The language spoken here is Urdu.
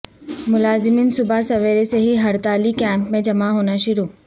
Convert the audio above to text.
ملازمین صبح سویرے سے ہی ہڑتالی کیمپ میں جمع ہونا شروع